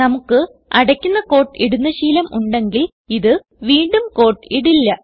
നമുക്ക് അടയ്ക്കുന്ന ക്യൂട്ട് ഇടുന്ന ശീലം ഉണ്ടെങ്കിൽ ഇത് വീണ്ടും ക്യൂട്ട് ഇടില്ല